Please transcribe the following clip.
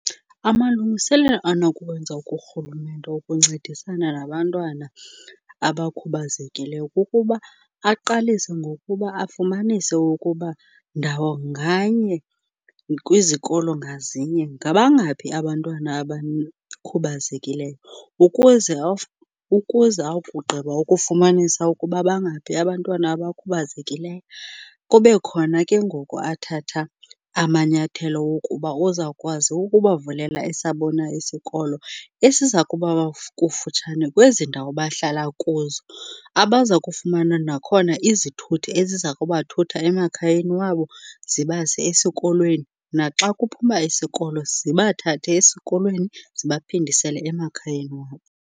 Amalungiselelo anokuwenza kurhulumente wokuncedisana nabantwana abakhubazekileyo kukuba aqalise ngokuba afumanise ukuba ndawo nganye kwizikolo ngazinye, ngabangaphi abantwana . Ukuze akugqiba ukufumanisa ukuba bangapahi abantwana abakhubazekileyo, kube khona ke ngoku athatha amanyathelo wokuba uzawukwazi ukubavulela esabo na isikolo esiza kuba kufutshane kwezi ndawo bahlala kuzo. Abaza kufumana nakhona izithuthi eziza kubathutha emakhayeni wabo zibase esikolweni, naxa kuphuma isikolo zibathathe esikolweni zibaphindisele emakhayeni wabo.